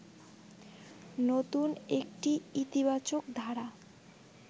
নতুন একটি ইতিবাচক ধারা